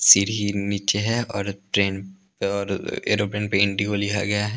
सीढ़ी नीचे है और ट्रेन पर और एरोप्लेन पे एन_टी_ओ लिया गया है ।